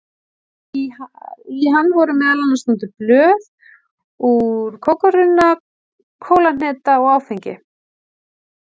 Í hann voru meðal annars notuð blöð úr kókarunna, kólahneta og áfengi.